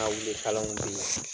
kalanw